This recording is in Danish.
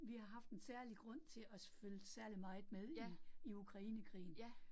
Vi har haft en særlig grund til at følge særligt meget med i i Ukrainekrigen